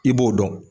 I b'o dɔn